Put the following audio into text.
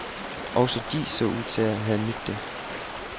Også de så ud til at have nydt det.